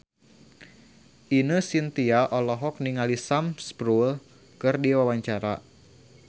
Ine Shintya olohok ningali Sam Spruell keur diwawancara